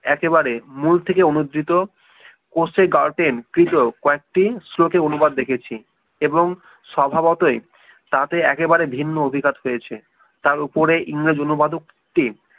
একেবারে মূল থেকে অনুদৃত গ্রাউকেন সহ কয়েকটি শ্লোকে অনুবাদ দেখিয়েছি এবং স্বভাবতই তাতেই একেবারে ভিন্ন অভিঘাত পেয়েছে তার উপরে ইংরেজ অনুবাদ ও উক্তি